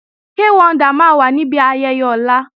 Kay Wonder máa wà níbi ayẹyẹ ọ̀la